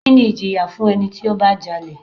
Kini ìjìyà fún ẹni tí ó bá jalè?